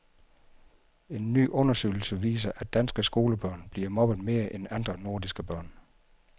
En ny undersøgelse viser, at danske skolebørn bliver mobbet mere end andre nordiske børn.